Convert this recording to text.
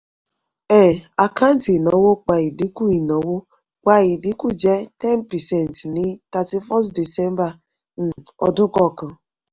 um àkáǹtì ìnáwó pa ìdínkù ìnáwó pa ìdínkù jẹ́ ten percent ní thirty-first december um ọdún kọ̀ọ̀kan.